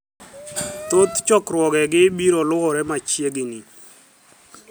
Thoth chokruogegi biro luwore machiegnii.